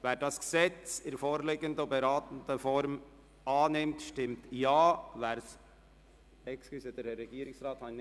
Wer das Gesetz in der vorliegenden Form annimmt, stimmt Ja, wer es ablehnt, stimmt Nein.